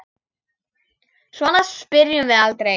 Svona spyrjum við aldrei.